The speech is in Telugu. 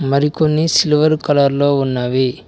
మరికొన్ని సిల్వర్ కలర్ లో ఉన్నవి.